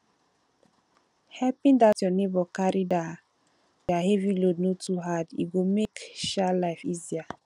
helping um your neighbor carry their um load no too hard e go make um life easier